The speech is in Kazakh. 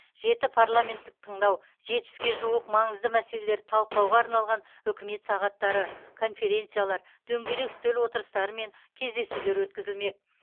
жеті парламенттік тыңдау жетпіске жуық маңызды мәселелерді талқылауға арналған үкімет сағаттары конференциялар дөңгелек үстел отырыстары мен кездесулер өткізілмек